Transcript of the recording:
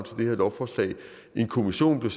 lovforslag en kommission blev